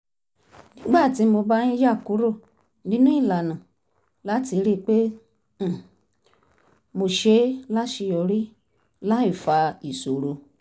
nígbà tí mo bá ń yà kúrò nínú ìlànà láti rí i pé um mo ṣe é láṣeyọrí láì fa ìṣòro